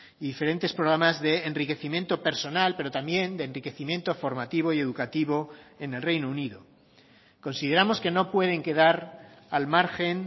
y diferentes programas de enriquecimiento personal pero también de enriquecimiento formativo y educativo en el reino unido consideramos que no pueden quedar al margen